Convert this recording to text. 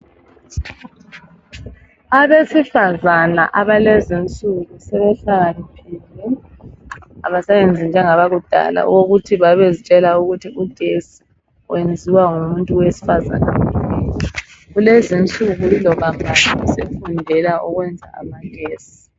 Abesifazana abalezi insuku sebehlakaniphile abasayenzi njengabakudala ukuthi babezitshela ukuthi ugetsi wenziwa ngumuntu owesifazana kuphela. Kulezi insuku iloba mbani sefundela ukwenza amagetsi.